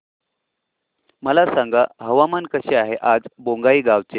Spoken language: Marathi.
मला सांगा हवामान कसे आहे आज बोंगाईगांव चे